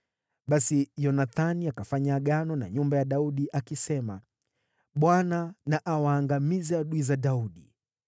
Basi Yonathani akafanya agano na nyumba ya Daudi, akisema: “ Bwana na awaangamize adui za Daudi.”